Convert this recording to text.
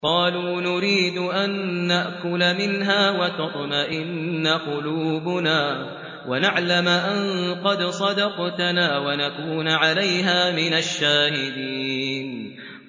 قَالُوا نُرِيدُ أَن نَّأْكُلَ مِنْهَا وَتَطْمَئِنَّ قُلُوبُنَا وَنَعْلَمَ أَن قَدْ صَدَقْتَنَا وَنَكُونَ عَلَيْهَا مِنَ الشَّاهِدِينَ